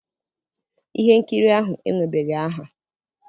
ihe nkiri ahụ enwebeghị aha.